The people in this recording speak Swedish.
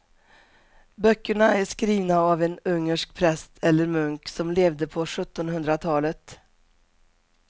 Böckerna är skrivna av en ungersk präst eller munk som levde på sjuttonhundratalet.